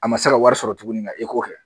A ma se ka wari sɔrɔ tuguni kɛ